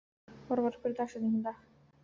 Orvar, hver er dagsetningin í dag?